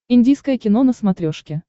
индийское кино на смотрешке